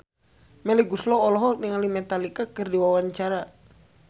Melly Goeslaw olohok ningali Metallica keur diwawancara